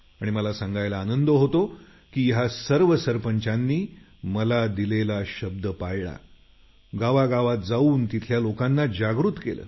आणि मला सांगायला आनंद होतो की या सर्व सरपंचांनी मला दिलेला शब्द पाळला गावागावात जाऊन तिथल्या लोकांना जागृत केलं